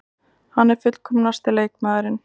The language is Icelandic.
Hann er fullkomnasti leikmaðurinn.